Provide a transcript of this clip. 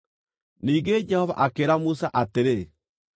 Ningĩ Jehova akĩĩra Musa atĩrĩ,